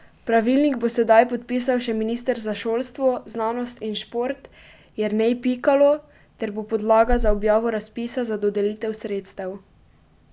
Pravilnik bo sedaj podpisal še minister za šolstvo, znanost in šport Jernej Pikalo ter bo podlaga za objavo razpisa za dodelitev sredstev.